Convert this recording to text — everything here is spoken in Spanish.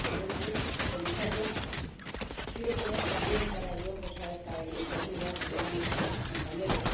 Señor presidente, comisaria, quiero poner también cara y ojos a esta iniciativa como lo han hecho mis compañeros.